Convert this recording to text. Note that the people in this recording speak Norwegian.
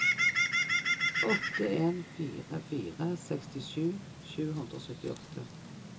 åtte en fire fire sekstisju sju hundre og syttiåtte